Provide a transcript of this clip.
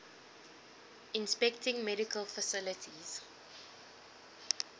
inspecting medical facilities